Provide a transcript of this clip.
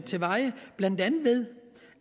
til veje blandt andet ved